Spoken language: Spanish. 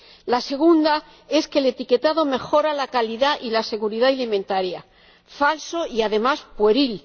La segunda es que el etiquetado mejora la calidad y la seguridad alimentarias falso y además pueril.